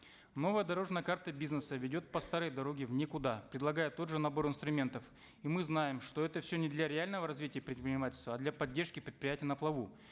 новая дорожная карта бизнеса ведет по старой дороге в никуда предлагая тот же набор инструментов и мы знаем что это все не для реального развития предпринимательства а для поддержки предприятий на плаву